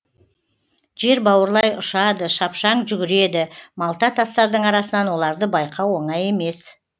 жер бауырлай ұшады шапшаң жүгіреді малта тастардың арасынан оларды байқау оңай емес